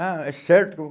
Ah, é certo?